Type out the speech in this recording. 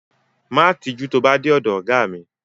Má tijú tó bá dé ọ̀dọ ọ̀gá mi.